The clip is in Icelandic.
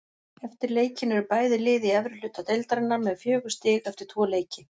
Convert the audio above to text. Eftir leikinn eru bæði lið í efri hluta deildarinnar með fjögur stig eftir tvo leiki.